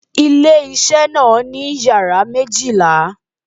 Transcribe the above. Ilé isé náà ní yàrá isé méjìlá